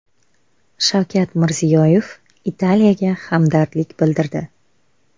Shavkat Mirziyoyev Italiyaga hamdardlik bildirdi.